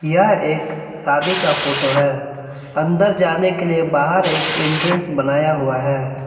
यह एक शादी का फोटो है अंदर जाने के लिए बाहर एक एंट्रेंस बनाया हुआ है।